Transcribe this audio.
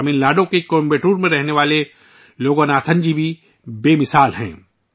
تمل ناڈو کے کوئمبٹور میں رہنے والے لوگناتھن جی منفرد شخصیت ہیں